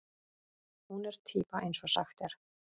Hún er týpa eins og sagt er.